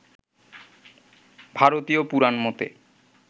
ভারতীয় পুরাণমতে